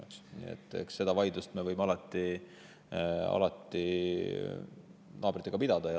Eks sellist vaidlust me võime alati naabritega pidada.